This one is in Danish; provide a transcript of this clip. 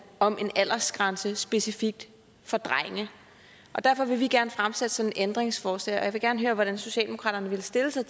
om en aldersgrænse specifikt for drenge og derfor vil vi gerne fremsætte sådan et ændringsforslag og jeg vil gerne høre hvordan socialdemokraterne vil stille sig